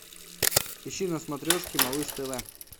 ищи на смотрешке малыш тв